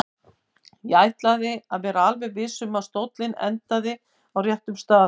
Ég ætlaði að vera alveg viss um að stóllinn endaði á réttum stað.